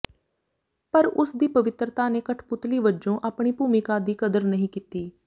ਪਰ ਉਸ ਦੀ ਪਵਿੱਤਰਤਾ ਨੇ ਕਠਪੁਤਲੀ ਵਜੋਂ ਆਪਣੀ ਭੂਮਿਕਾ ਦੀ ਕਦਰ ਨਹੀਂ ਕੀਤੀ